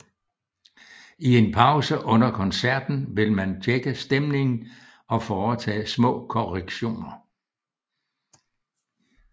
I en pause under koncerterten vil man tjekke stemningen og foretage små korrektioner